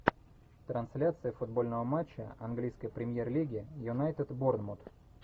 трансляция футбольного матча английской премьер лиги юнайтед борнмут